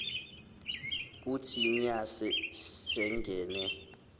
kuthi nya singene